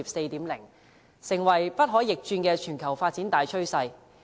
這已成為不可逆轉的全球發展大趨勢。